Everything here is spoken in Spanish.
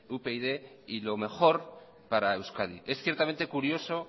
upyd y lo mejor para euskadi es ciertamente curioso